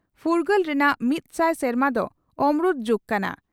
ᱯᱷᱩᱨᱜᱟᱹᱞ ᱨᱮᱱᱟᱜ ᱢᱤᱛ ᱥᱟᱭ ᱥᱮᱨᱢᱟ ᱫᱚ ᱚᱢᱨᱩᱛ ᱡᱩᱜᱽ ᱠᱟᱱᱟ ᱾